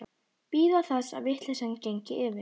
Bíða þess að vitleysan gengi yfir.